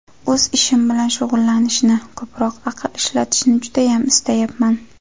O‘z ishim bilan shug‘ullanishni, ko‘proq aql ishlatishni judayam istayapman.